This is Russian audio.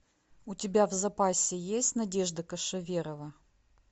у тебя в запасе есть надежда кошеверова